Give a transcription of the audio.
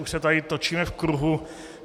Už se tady točíme v kruhu.